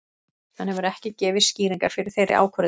Hann hefur ekki gefið skýringar fyrir þeirri ákvörðun.